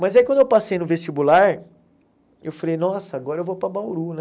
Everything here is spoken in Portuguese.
Mas aí quando eu passei no vestibular, eu falei, nossa, agora eu vou para Bauru, né?